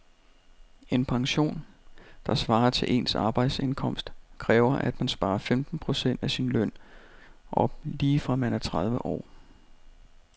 En pension, der svarer til ens arbejdsindkomst, kræver at man sparer femten procent af sin løn op lige fra man er tredive år.